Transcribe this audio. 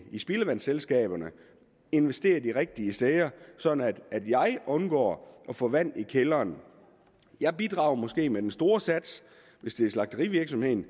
spildevandsselskaberne investerer de rigtige steder sådan at man undgår at få vand i kælderen jeg bidrager måske med den store sats hvis det er slagterivirksomheden